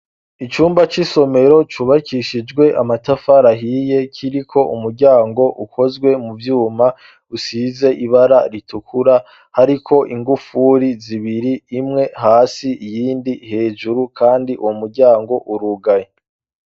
Icumba c'isomero cubakishijwe amatafari ahiye kiri ko umuryango ukozwe mu vyuma usize ibara ritukura hariko ingufuri zibiri imwe hasi iyindi hejuru kandi uwo muryango urugaye.